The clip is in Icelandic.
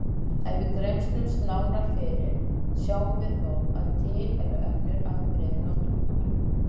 Ef við grennslumst nánar fyrir sjáum við þó að til eru önnur afbrigði notkunar.